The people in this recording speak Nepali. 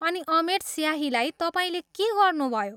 अनि अमेट स्याहीलाई तपाईँले के गर्नुभयो?